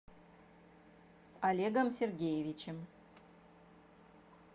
олегом сергеевичем